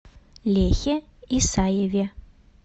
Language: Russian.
лехе исаеве